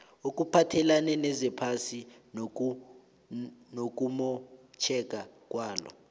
okuphathelene nezephasi nokumotjheka kwalo